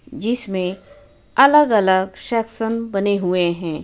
जिसमे अलग अलग सेकसन बने हुए हैं।